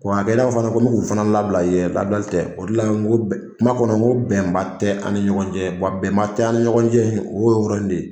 Hakɛ fana ko n bɛ k'u fana labila o de la kuma kɔnɔ n ko bɛnba tɛ an ni ɲɔgɔn cɛ bɛnba tɛ an ni ɲɔgɔn cɛ o y'o yɔrɔ in de ye